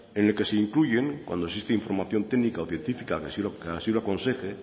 en el que se incluyen cuando existe información técnica o científica que así lo aconseje